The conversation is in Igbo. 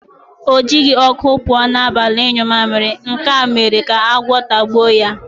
O jighị ọkụ pụọ n'abalị ịnyụ mamịrị, nke a mere ka agwọ tagbuo ya.